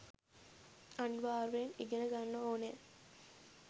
අනිවාර්යයෙන් ඉගෙන ගන්න ඕනෑ.